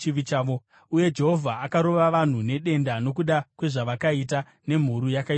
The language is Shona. Uye Jehovha akarova vanhu nedenda nokuda kwezvavakaita nemhuru yakaitwa naAroni.